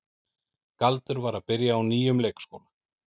Galdur var að byrja á nýjum leikskóla.